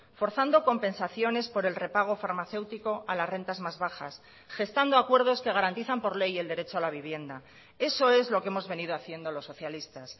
forzando compensaciones por el repago farmacéutico a las rentas más bajas gestando acuerdos que garantizan por ley el derecho a la vivienda eso es lo que hemos venido haciendo los socialistas